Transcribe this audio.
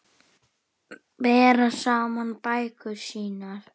Bera saman bækur sínar.